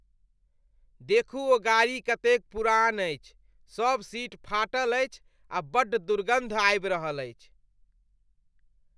देखू ओ गाड़ी कतेक पुरान अछि। सभ सीट फाटल अछि आ बड्ड दुर्गन्ध आबि रहल अछि।